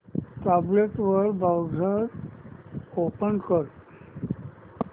tablet वर browser open कर